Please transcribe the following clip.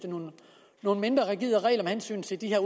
nogle mindre rigide regler med hensyn til de her